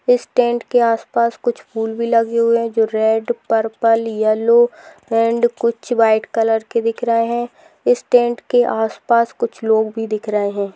इस टेंट के आस-पास कुछ फूल भी लगे हुए है जो रेड पर्पल येलो एंड कुछ वाइट कलर के दिख रहे है इस टेंट के आस-पास कुछ लोग भी दिख रहे है।